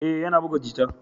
Ee, yana buga jita.